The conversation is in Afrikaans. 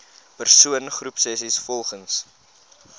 persoon groepsessies volgens